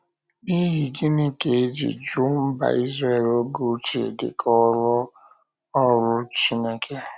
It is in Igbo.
N’ihi gịnị ka e ji jụ́ mba Izrel oge ochie dị ka “ọ́rụ” “ọ́rụ” Chineke?